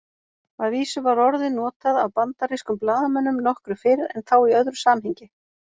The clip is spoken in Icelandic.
Að vísu var orðið notað af bandarískum blaðamönnum nokkru fyrr en þá í öðru samhengi.